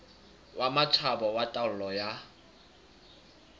wa matjhaba wa taolo ya